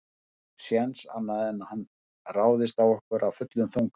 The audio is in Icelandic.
Það er ekki séns annað en hann ráðist á okkur af fullum þunga.